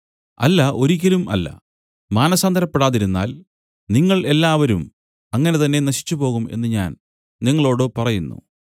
അല്ല ഒരിയ്ക്കലും അല്ല മാനസാന്തരപ്പെടാതിരുന്നാൽ നിങ്ങൾ എല്ലാവരും അങ്ങനെ തന്നെ നശിച്ചുപോകും എന്നു ഞാൻ നിങ്ങളോടു പറയുന്നു